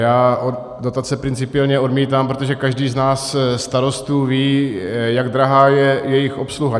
Já dotace principiálně odmítám, protože každý z nás starostů ví, jak drahá je jejich obsluha.